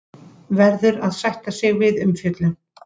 Verður að sætta sig við umfjöllun